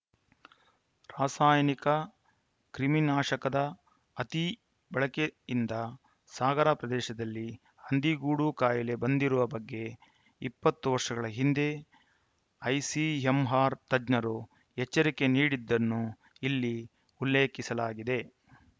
ರಾಸಾಯನಿಕ ಕ್ರಿಮಿನಾಶಕದ ಅತಿ ಬಳಕೆಯಿಂದ ಸಾಗರ ಪ್ರದೇಶದಲ್ಲಿ ಹಂದಿಗೋಡು ಕಾಯಿಲೆ ಬಂದಿರುವ ಬಗ್ಗೆ ಇಪ್ಪತ್ತು ವರ್ಷಗಳ ಹಿಂದೇ ಐಸಿಎಂ ಆರ್‌ ತಜ್ಞರು ಎಚ್ಚರಿಕೆ ನೀಡಿದ್ದನ್ನು ಇಲ್ಲಿ ಉಲ್ಲೇಖಿಸಲಾಗಿದೆ